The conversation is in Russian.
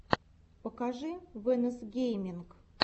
покажи вэнос гейминг